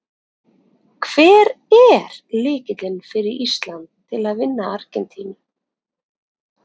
Hver er lykillinn fyrir Ísland til að vinna Argentínu?